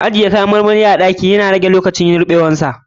Ajiye kayan marmari a ɗaki na rage lokacin ruɓewar sa.